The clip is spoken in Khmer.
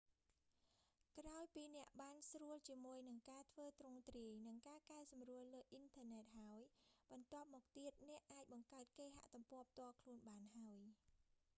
ក្រោយពីអ្នកបានស្រួលជាមួយនឹងការធ្វើទ្រង់ទ្រាយ និងការកែសម្រួលលើអ៊ីនធឺណិតហើយ បន្ទាប់មកទៀត អ្នកអាចបង្កើតគេហទំព័រផ្ទាល់ខ្លួនបានហើយ